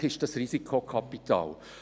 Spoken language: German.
Selbstverständlich ist das Risikokapital.